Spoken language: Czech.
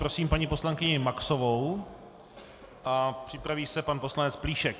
Prosím paní poslankyni Maxovou a připraví se pan poslanec Plíšek.